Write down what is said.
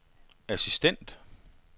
assistent